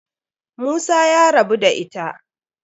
Musa ya rabu da ita.